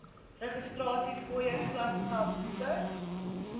registrasiefooie klasgeld boeke